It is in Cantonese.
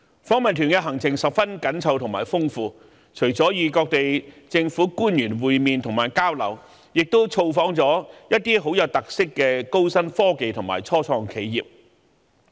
訪問團的行程十分緊湊和豐富，除了與當地政府官員會面和交流，亦造訪了一些極具特色的高新科技及初創企業。